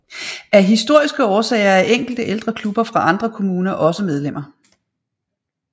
Af historiske årsager er enkelte ældre klubber fra andre kommuner også medlemmer